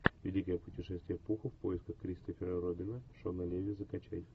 великое путешествие пуха в поисках кристофера робина шона леви закачай